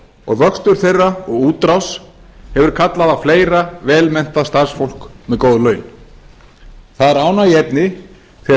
og vöxtur þeirra og útrás hefur kallað á fleira vel menntað starfsfólk með góð laun það er ánægjuefni þegar